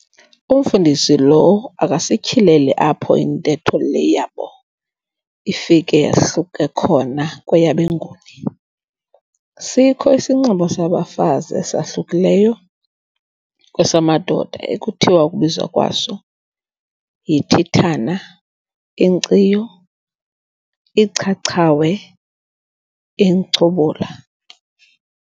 Umfundisi lo akasityhileli apho intetho le yabo ifike yahluke khona kweyabeNguni. Sikho isinxibo sabafazi esahlukileyo kwesamadoda ekuthiwa ukubizwa kwaso "yithithana, inkciyo, ichachawe, inchubula."